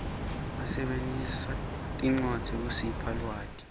basebentisa tincwadzi kusipha lwati